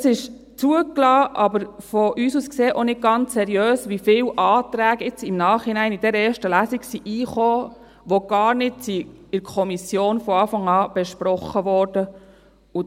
Es ist zugelassen, aber aus unserer Sicht ist es auch nicht ganz seriös, wie viele Anträge nun im Nachhinein in dieser ersten Lesung hereingekommen sind, die gar nicht von Anfang an in der Kommission besprochen worden sind.